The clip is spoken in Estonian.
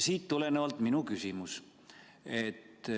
Siit tulenevalt minu küsimus.